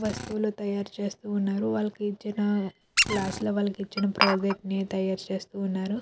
వస్తువులు తయారు చేస్తూ ఉన్నారు. వాళ్ళకి ఇచ్చిన క్లాసు లో వాళ్ళకి ఇచ్చిన ప్రాజెక్ట్ ని తయారు చేస్తూ ఉన్నారు.